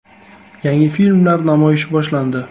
Yangi filmlar namoyishi boshlandi.